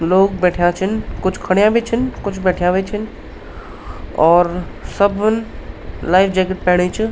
लोग बैठ्या छिन कुछ खडयाँ भी छिन कुछ बैठ्याँ भी छिन और सबन लाइफ जैकेट पैणी च।